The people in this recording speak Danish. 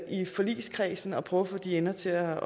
i forligskredsen at prøve at få de ender til at